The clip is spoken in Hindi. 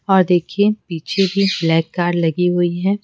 और देखिए पीछे भी ब्लैक कार्ड लगी हुई हैं।